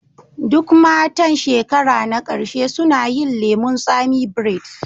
Duk matan shekara na ƙarshe suna yin lemun tsami braids